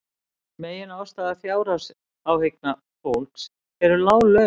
Meginástæða fjárhagsáhyggna fólks eru lág laun